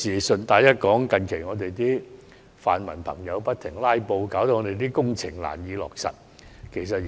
順帶一提，近日泛民朋友不斷"拉布"，令很多工程難以落實。